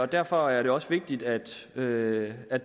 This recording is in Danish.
derfor er det også vigtigt at det af